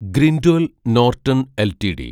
Grindwell Norton LTD